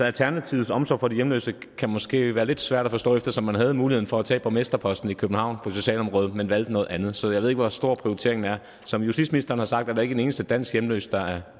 alternativets omsorg for de hjemløse måske kan være lidt svær at forstå eftersom man havde muligheden for at tage borgmesterposten i københavn på socialområdet men valgte noget andet så jeg ved ikke hvor stor prioriteringen er som justitsministeren har sagt er der ikke en eneste dansk hjemløs der er